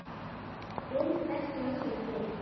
Til hvers langar þig?